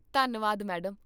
ਧੰਨਵਾਦ, ਮੈਡਮ